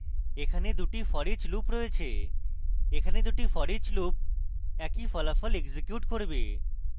এখানে দুটি foreach loops রয়েছে এখানে দুটি foreach loops একই ফলাফল execute করবে